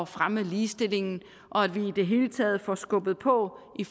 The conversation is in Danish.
fremme ligestillingen og at vi i det hele taget får skubbet på i